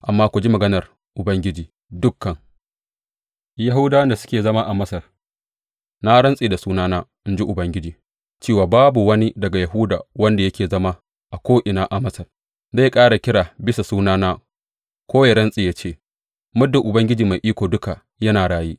Amma ku ji maganar Ubangiji, dukan Yahudawan da suke zama a Masar, Na rantse da sunana,’ in ji Ubangiji, cewa babu wani daga Yahuda wanda yake zama a ko’ina a Masar zai ƙara kira bisa sunana ko ya rantse ya ce, Muddin Ubangiji Mai Iko Duka yana raye.